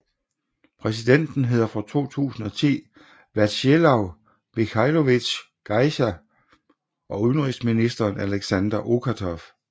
Præsidenten hedder fra 2010 Vjatsjeslav Mikhajlovitsj Gajzer og udenrigsministeren Aleksandr Okatov